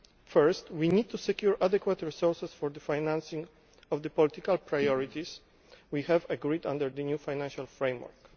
First we need to secure adequate resources for financing the political priorities we have agreed under the new financial framework.